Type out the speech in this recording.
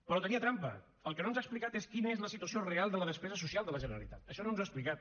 però tenia trampa el que no ens ha explicat és quina és la situació real de la despesa social de la generalitat això no ens ho ha explicat